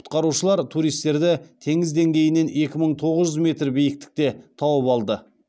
құтқарушылар туристерді теңіз деңгейінен екі мың тоғыз жүз метр биіктікте тауып алды